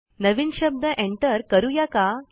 नवीन शब्द एन्टर करुया का